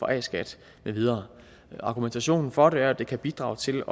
a skat med videre argumentationen for det er at det kan bidrage til